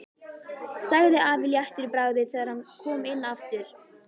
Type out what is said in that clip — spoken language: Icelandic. sagði afi léttur í bragði þegar hann kom inn aftur.